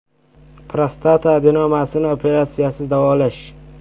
Prostata adenomasini operatsiyasiz davolash.